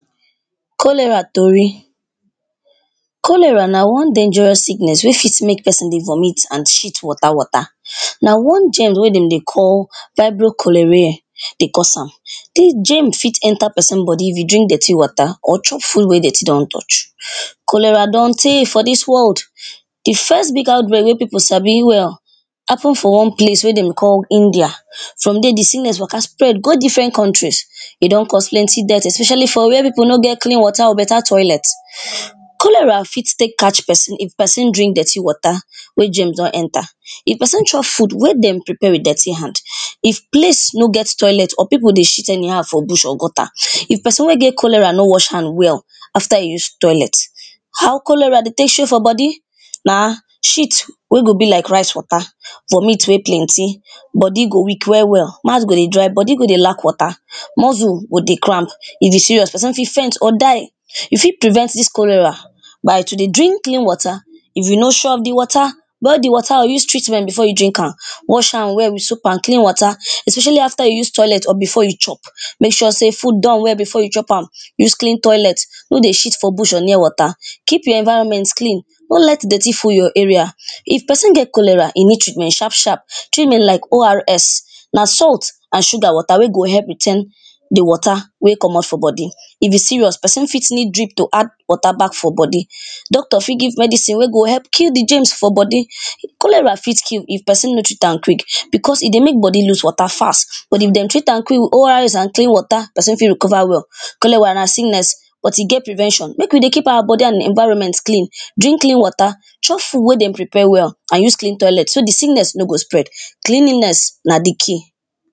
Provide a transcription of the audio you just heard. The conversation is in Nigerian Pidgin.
Cholera story, cholera na one dangerous sickness wey fit make person dey vomit and shit water water. Na one germ wen dem dey call vibrio cholerae dey cause am. Dis germ fit enter person body if you drink dirty water, or chop food wen dirty don touch. cholera don tey for dis world. di first big outbreak wey people sabi well, happen for one place wey dem call India from there di sickness waka spread go different countries, e don cause plenty death, especially for where people no get clean water or better toilet. cholera fit take catch person, if person drink dirty water wey germs don enter, if person chop food wey dem prepare with dirty hand, if place no get toilet or people dey shit anyhow for bush or gutter, if person wey get cholera nor wash hand well after e use toilet. How cholera dey take show for body na shit wey go be like rice water, vomit wey plenty, body go weak well well, mouth go dey dry, body go dey lack water, muscle go dey cramp. If e serious person fit faint or die, you fit prevent dis cholera by to dey drink clean water, if you no sure of di water, boil di water or use treatment before you drink am. Wash hands well with soap and clean water, especially after you use toilet, or after you chop. Make sure sey food don well before you chop am, use clean toilet, no dey shit for bush or near water, keep your environment clean, no let dirty full your area. If person get cholera, e need treatment sharp sharp, treatment like ORS na salt and sugar water wey go help retain di water wey komot for body, if e serious person fit need drip to add water back for body. Doctor fit give medicine wey go help kill di germs for body, cholera fit kill if person no treat am quick because e dey make body loose water fast, but if dem treat am quick with ORS and clean water, person fit recover well. cholera na sickness but e get prevention, make we dey keep our body and environment clean, drink clean water, chop food wey dem prepare well, and use clean toilet so di sickness no go spread, cleanliness na di key.